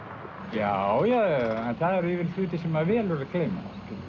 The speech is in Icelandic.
já já en það eru yfirleitt hlutir sem maður velur að gleyma